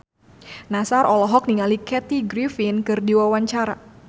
Nassar olohok ningali Kathy Griffin keur diwawancara